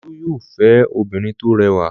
Olú yóò fẹ́ obìnrin tó rẹwà!